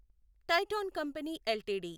Titan company LTD